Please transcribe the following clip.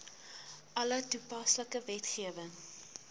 alle toepaslike wetgewing